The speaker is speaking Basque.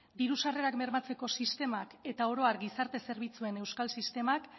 diru sarrerak bermatzeko sistema eta orohar gizarte zerbitzuen euskal sistemak